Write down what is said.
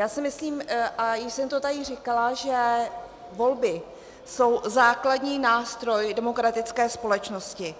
Já si myslím, a už jsem to tady říkala, že volby jsou základní nástroj demokratické společnosti